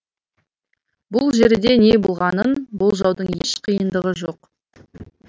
бүл жерде не болғанын болжаудың еш қиындығы жоқ